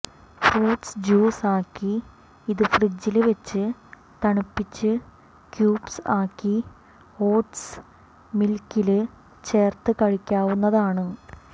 fruits juice ആക്കി ഇത് ഫ്രിഡ്ജില് വെച്ച് തണുപ്പിച്ച് ക്യൂബ്സ് ആക്കി ഓട്സ്മില്ക്കില് ചേര്ത്ത് കഴിക്കാവുന്നതാണ്